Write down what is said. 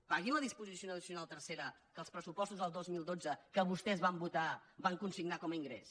paguin la disposició addicional tercera que els pressupostos del dos mil dotze que vostès van votar van consignar com a ingrés